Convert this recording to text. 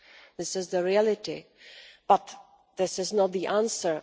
This is the reality, but this is not the answer.